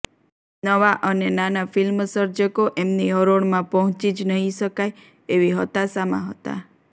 નવા અને નાના ફિલ્મસર્જકો એમની હરોળમાં પહોંચી જ નહીં શકાય એવી હતાશામાં હતા